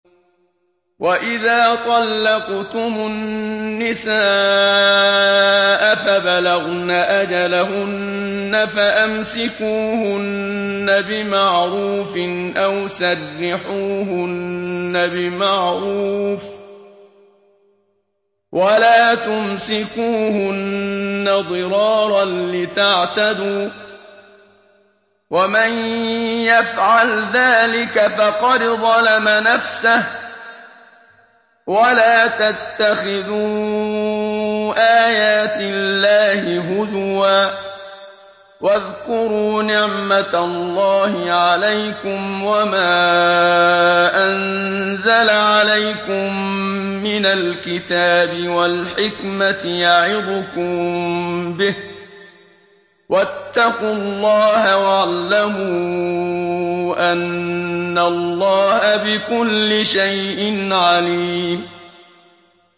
وَإِذَا طَلَّقْتُمُ النِّسَاءَ فَبَلَغْنَ أَجَلَهُنَّ فَأَمْسِكُوهُنَّ بِمَعْرُوفٍ أَوْ سَرِّحُوهُنَّ بِمَعْرُوفٍ ۚ وَلَا تُمْسِكُوهُنَّ ضِرَارًا لِّتَعْتَدُوا ۚ وَمَن يَفْعَلْ ذَٰلِكَ فَقَدْ ظَلَمَ نَفْسَهُ ۚ وَلَا تَتَّخِذُوا آيَاتِ اللَّهِ هُزُوًا ۚ وَاذْكُرُوا نِعْمَتَ اللَّهِ عَلَيْكُمْ وَمَا أَنزَلَ عَلَيْكُم مِّنَ الْكِتَابِ وَالْحِكْمَةِ يَعِظُكُم بِهِ ۚ وَاتَّقُوا اللَّهَ وَاعْلَمُوا أَنَّ اللَّهَ بِكُلِّ شَيْءٍ عَلِيمٌ